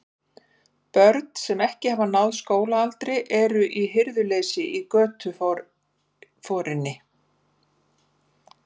Börn, sem ekki hafa náð skólaaldri, eru í hirðuleysi í götuforinni.